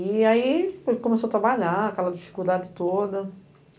E aí ele começou a trabalhar, aquela dificuldade toda.